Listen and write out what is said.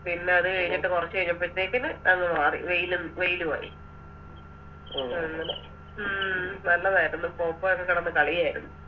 പിന്നെ അത് കഴിഞ്ഞിട്ട് കൊറച്ച് കഴിഞ്ഞപ്പൽതേക്കിന് മഞ്ഞ് മാറി വെയില് വെയിലുആയി അങ്ങനെ ഉം നല്ലതാരുന്ന് പോപ്പോയൊക്കെ കെടന്ന് കാളിയര്ന്ന്